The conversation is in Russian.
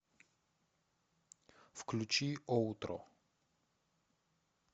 включи оутро